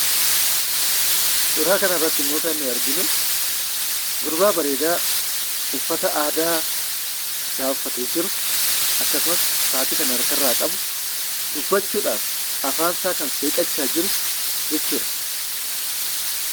Suuraa kanarrattimmoo kan nuti arginu gurbaa bareedaa uffata aadaa isaa uffatee jiru akkasumas sa'aatii kan harkarraa qabu dubbachuudhaaf afaansaa kan seeqaa jiru jechuudha.